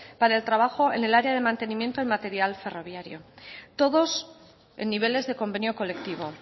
para el trabajo en el área de mantenimiento y material ferroviario todos en niveles de convenio colectivo